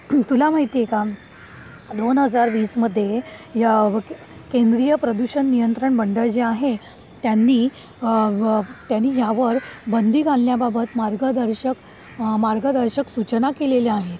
तुला माहिती आहे का? दोन हजार वीस मध्ये या केंद्रीय प्रदूषण नियंत्रण मंडळ जे आहे त्यांनी आह यावर बंदी घालण्याबाबत मार्गदर्शक, मार्गदर्शक सूचना केलेल्या आहेत.